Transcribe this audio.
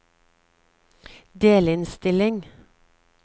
delinnstilling